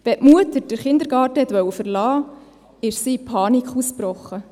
Wenn die Mutter den Kindergarten verlassen wollte, brach sie in Panik aus.